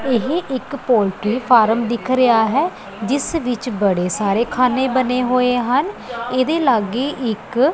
ਇਹ ਇੱਕ poultry farm ਦਿੱਖ ਰਿਹਾ ਹੈ ਜਿੱਸ ਵਿੱਚ ਬੜੇ ਸਾਰੇ ਖਾਨੇ ਬਨੇ ਹੋਏ ਹਨ ਇਹਦੇ ਲੱਗੇ ਇੱਕ--